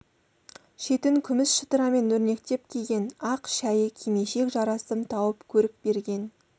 шетін күміс шытырамен өрнектеп киген ақ шәйі кимешек жарасым тауып көрік берген